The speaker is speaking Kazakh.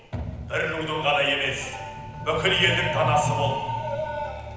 бір рудың ғана емес бүкіл елдің данасы бол